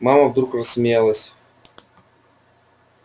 мама вдруг рассмеялась